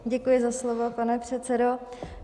Děkuji za slovo, pane předsedo.